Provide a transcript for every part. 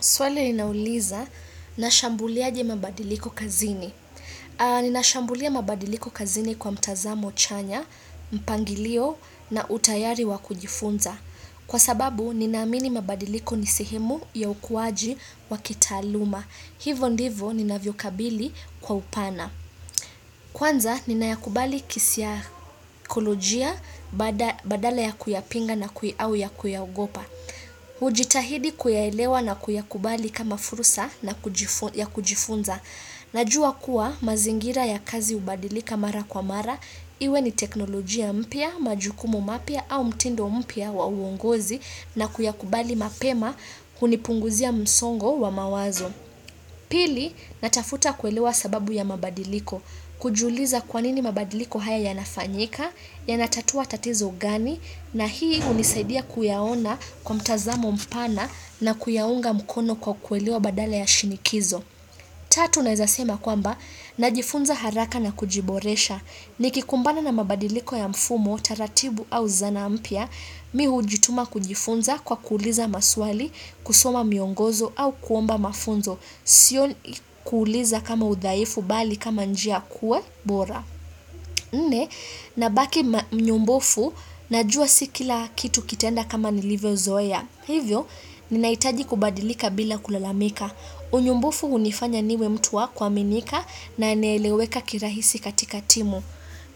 Swali ninauliza na shambulia aje mabadiliko kazini. Ninashambulia mabadiliko kazini kwa mtazamo chanya, mpangilio na utayari wakujifunza. Kwa sababu, ninaamini mabadiliko ni sehemu ya ukuwaji wa kitaaluma. Hivo ndivo, nina vyokabili kwa upana. Kwanza, ninayakubali kisaikolojia badala ya kuyapinga na au ya kuyaogopa. Ujitahidi kuyaelewa na kuyakubali kama fursa na ya kujifunza Najua kuwa mazingira ya kazi hubadilika mara kwa mara Iwe ni teknolojia mpya, majukumu mapya au mtindo mpya wa uongozi na kuyakubali mapema kunipunguzia msongo wa mawazo Pili natafuta kuelewa sababu ya mabadiliko kujiuliza kwa nini mabadiliko haya yanafanyika Yanatatua tatizo gani na hii hunisaidia kuyaona kwa mtazamo mpana na kuyaunga mkono kwa kuelewa badala ya shinikizo. Tatu naeza sema kwamba, najifunza haraka na kujiboresha. Nikikumbana na mabadiliko ya mfumo, taratibu au zanaa mpya, mi hujituma kujifunza kwa kuuliza maswali, kusoma miongozo au kuomba mafunzo. Sio kuuliza kama udhaifu bali kama njia kuwa bora. Nne, nabaki mnyombofu, najua si kila kitu kitaenda kama nilivyozoea. Hivyo, ninahitaji kubadilika bila kulalamika. Unyombofu hunifanya niwe mtu wa kuaminika na naeleweka kirahisi katika timu.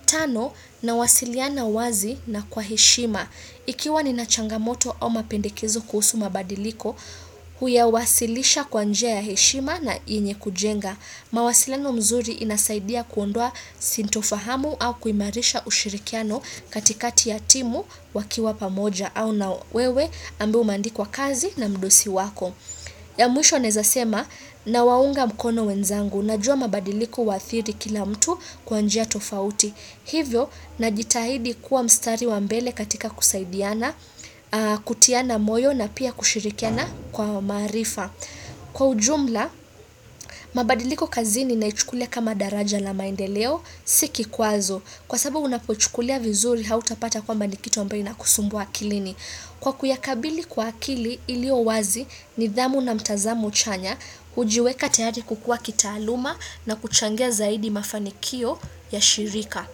Tano, nawasiliana wazi na kwa heshima. Ikiwa nina changamoto au mapendekezo kuhusu mabadiliko, huyawasilisha kwa njia ya heshima na yenye kujenga. Mawasiliano mzuri inasaidia kuondoa sintofahamu au kuimarisha ushirikiano katikati ya timu wakiwa pamoja au na wewe ambao umeandikwa kazi na mdosi wako. Ya mwisho naeza sema nawaunga mkono wenzangu najua mabadiliko huathiri kila mtu kwa njia tofauti. Hivyo najitahidi kuwa mstari wa mbele katika kusaidiana, kutiana moyo na pia kushirikiana kwa maarifa. Kwa ujumla, mabadiliko kazini naichukulia kama daraja la maendeleo, si kikwazo. Kwa sababu unapochukulia vizuri hautapata kwamba ni kitu ambayo inakusumbua akilini. Kwa kuyakabili kwa akili ilio wazi nidhamu na mtazamo chanya, hujiweka tayari kukua kitaaluma na kuchangia zaidi mafanikio ya shirika.